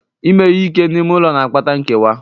Ime ihe ike n'ime ụlọ na-akpata nkewa.